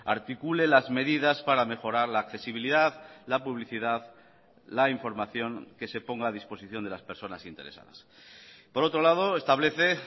articule las medidas para mejorar la accesibilidad la publicidad la información que se ponga a disposición de las personas interesadas por otro lado establece